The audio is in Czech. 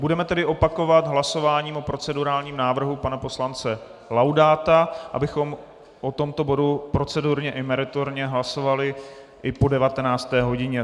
Budeme tedy opakovat hlasování o procedurálním návrhu pana poslance Laudáta, abychom o tomto bodu procedurálně i meritorně hlasovali i po 19. hodině.